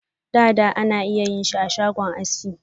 Dada ana iya yin shi ashagon aski.